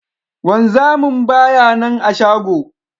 Wanzamin ba ya nana a shago.